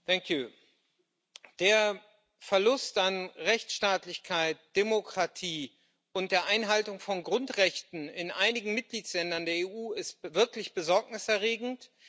Herr Präsident! Der Verlust an Rechtsstaatlichkeit, Demokratie und der Einhaltung von Grundrechten in einigen Mitgliedstaaten der EU ist wirklich besorgniserregend.